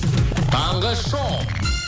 таңғы шоу